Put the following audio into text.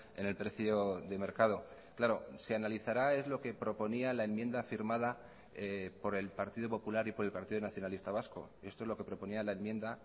en el precio de mercado claro se analizará es lo que proponía la enmienda firmada por el partido popular y por el partido nacionalista vasco esto es lo que proponía la enmienda